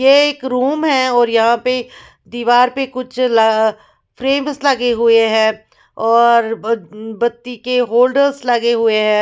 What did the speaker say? यह एक रूम है और यहाँ पे दीवार पे कुछ ल फ्रेम्स लगे हुए हैं और बत्ती बत्ती के होल्डर्स लगे हुए हैं।